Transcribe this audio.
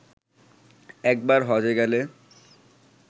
একবার হজ্বে গেলে